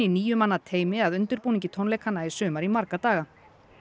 níu manna teymi að undirbúningi tónleikanna í sumar í marga daga